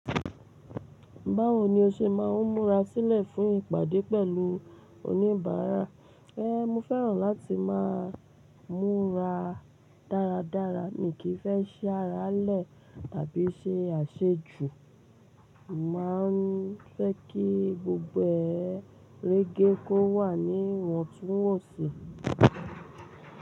Báwo ni o ṣe máa ń múra sílẹ̀ fún ìpàdé pẹ̀lú oníbàárà? Ẹ́, mo fẹ́ràn láti máa ń múra dáradára. Mi kì í fẹ́ ṣi ará le tàbí ṣe àṣejù. Mo má a ń fẹ́ kí gbogbo ẹ rege kó wà ní ìwọ̀ntúnwọ̀nsì.